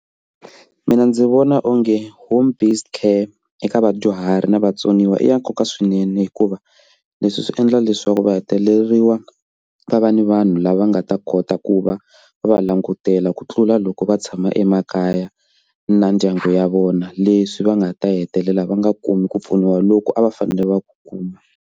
Mina ndzi vona onge home based care eka vadyuhari na vatsoniwa i ya nkoka swinene hikuva leswi swi endla leswaku va heleriwa va va ni vanhu lava nga nga ta kota ku va va langutela ku tlula loko va tshama emakaya na ndyangu ya vona leswi va nga ta hetelela va nga kumi ku pfuniwa loko a va fanele va ku kuma.